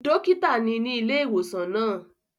Dókítà ni ní ilé ìwòsàn náà